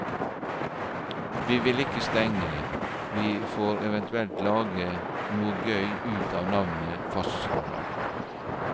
Vi vil ikke stenge, vi får eventuelt lage noe gøy ut av navnet, fastslår han.